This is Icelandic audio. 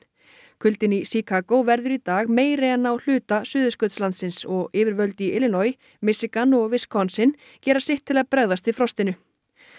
kuldinn í Chicago verður í dag meiri en á hluta Suðurskautslandsins og yfirvöld í Illinois Michigan og gera sitt til að bregðast við frostinu